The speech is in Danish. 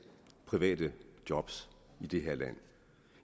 private job i det her land